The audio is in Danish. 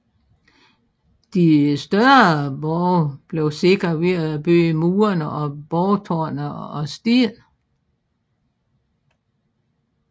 De større borge blev sikret ved at bygge murene og borgtårnet af sten